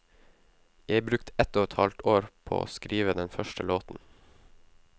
Jeg brukte ett og et halvt år på å skrive den første låten.